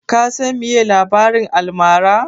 Ka san meye labarin almara?